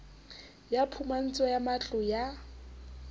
ya phumantsho ya matlo ya